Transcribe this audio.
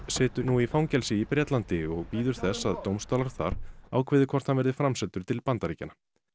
situr nú í fangelsi í Bretlandi og bíður þess að dómstólar þar ákveði hvort hann verði framseldur til Bandaríkjanna